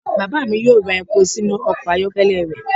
Baba mi yoo ra epo sinu ọkọ ayọkẹlẹ rẹ.